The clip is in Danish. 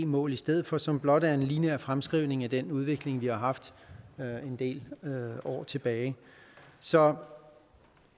mål i stedet for som blot er en lineær fremskrivning af den udvikling vi har haft en del år tilbage så